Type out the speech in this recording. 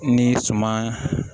Ni suman